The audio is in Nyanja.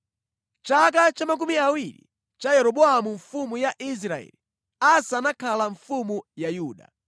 Mʼchaka cha makumi awiri cha Yeroboamu mfumu ya Israeli, Asa anakhala mfumu ya Yuda,